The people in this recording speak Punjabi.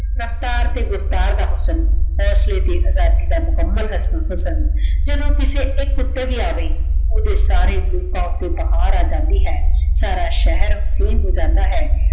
ਰਫਤਾਰ ਤੇ ਗੁਫਤਾਰ ਦਾ ਹੁਸ੍ਸਾਂ ਹੋਸਲੇ ਤੇ ਆਜ਼ਾਦੀ ਦਾ ਮੁਕਾਮਾਲ ਹੁਸਨ ਜਦੋਂ ਕਿਸੇ ਏਇਕ ਊਟੀ ਵੀ ਅਵੇ ਓਦੇ ਸਾਰੇ ਰੂਪਾਂ ਊਟੀ ਬਾਹਰ ਅਜੰਦੀ ਹੈ ਸਾਰਾ ਸ਼ੇਹਰ ਅਸੀਰ ਹੋ ਜਾਂਦਾ ਹੈ